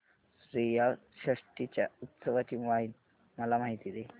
श्रीयाळ षष्टी च्या उत्सवाची मला माहिती दे